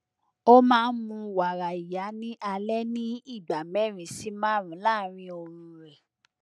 ó máa ń mu wàrà ìyá ní alẹ ní ìgbà mẹrin sí márùnún láàárín oorun rẹ